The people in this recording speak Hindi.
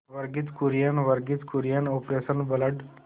Verghese Kurien Verghese Kurien operation blood